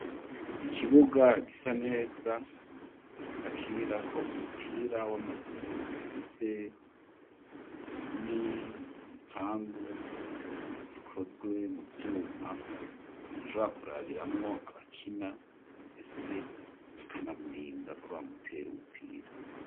Ikibuga gisa neza bakinira ko umupira w'amaguru gifise n'ibipangi bikozwe mu byuma umuntu rakurabiramwo abakina mbese bakanamurinda ko bamutere ubupira.